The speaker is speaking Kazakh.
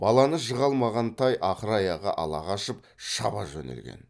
баланы жыға алмаған тай ақыр аяғы ала қашып шаба жөнелген